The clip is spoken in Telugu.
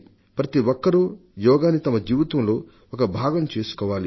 ప్రతిఒక్కరూ యోగాని వారి జీవితంలో ఒక భాగం చేసుకోవాలి